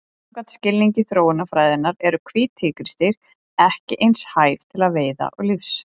Samkvæmt skilningi þróunarfræðinnar eru hvít tígrisdýr ekki eins hæf til veiða og lífs.